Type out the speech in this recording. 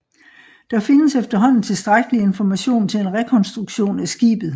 Der findes efterhånden tilstrækkelig information til en rekonstruktion af skibet